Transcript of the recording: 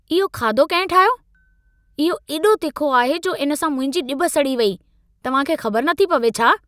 इहो खाधो कहिं ठाहियो? इहो एॾो तिखो आहे जो इन सां मुंहिंजी ॼिभ सड़ी वेई। तव्हां खे ख़बर नथी पवे छा?